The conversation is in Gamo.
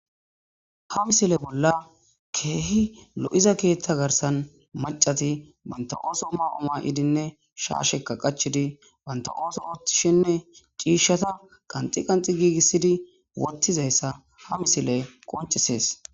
Ha misile bolla keehi lo'iza keeththa garssan maccati banta ooso ma'o ma'idinne shaasheka qachchidi banta ooso ooththishenne ciishshata qanxi qanxi giigisidi woththizaysa ha misiley qoncises.